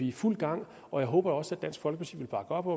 i fuld gang og jeg håber også at dansk folkeparti vil bakke op